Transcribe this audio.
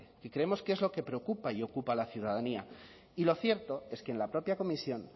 que creemos que es lo que preocupa y ocupa a la ciudadanía y lo cierto es que en la propia comisión